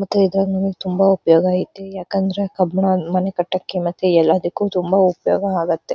ಮತ್ತ್ ಇದ್ರಿಂದ ತುಂಬ ಉಪಯೋಗ ಐತಿ ಯಾಕಂದ್ರೆ ಕಲ್ಲನ್ನ ಮನೆ ಕಟ್ಟಾಕೆ ಎಲ್ಲಾದಕ್ಕು ತುಂಬ ಉಪಯೋಗ ಆಗುತ್ತೆ.